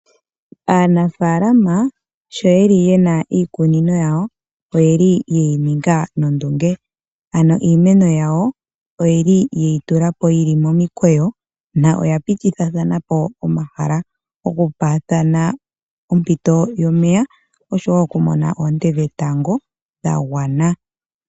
Aanafaalama sho yeli yena iikunino yawo oyeli yeyi ninga nondunge, ano iimeno yawo oyili yeyi tulapo yili momukweyo noya pitithathanapo omahala oku paathana ompito yomeya, oshowo oku mona oonte dhetango dha gwana.